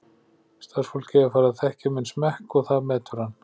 Starfsfólkið er farið að þekkja minn smekk og það metur hann.